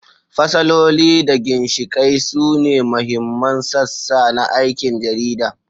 Fasaloli da ginshiƙai sune mahimman sassa na aikin jarida.